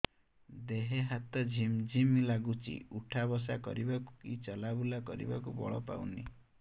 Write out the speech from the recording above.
ଦେହେ ହାତ ଝିମ୍ ଝିମ୍ ଲାଗୁଚି ଉଠା ବସା କରିବାକୁ କି ଚଲା ବୁଲା କରିବାକୁ ବଳ ପାଉନି